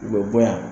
U bɛ bɔ yan